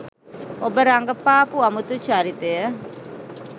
ඔබ රඟපාපු අමුතු චරිතය